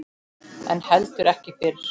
En heldur ekki fyrr.